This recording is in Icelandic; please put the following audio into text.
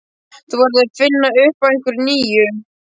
Þú verður að finna upp á einhverju nýju.